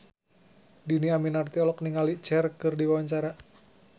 Dhini Aminarti olohok ningali Cher keur diwawancara